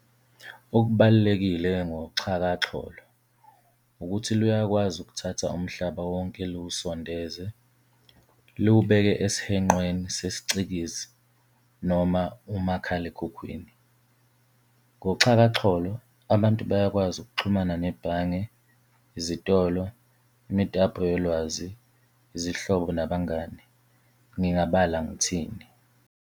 Okubalulekile ngoxhakaxholo ukuthi luyakwazi ukuthatha umhlaba wonke liwusondeze, liwubeke esihenqweni sesiCikizi noma umakhalekhukhwini. Ngoxhakaxholo abantu bayakwazi ukuxhumana nebhange, izitolo, imitapo yolwazi, izihlobo nabangani, ngingabala ngithini.